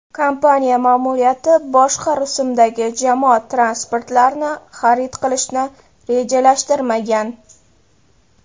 Kompaniya ma’muriyati boshqa rusumdagi jamoat transportlarini xarid qilishni rejalashtirmagan.